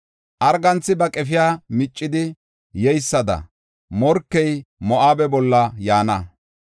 Arganthi ba qefiya miccidi yeysada morkey Moo7abe bolla yaana.